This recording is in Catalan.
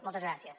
moltes gràcies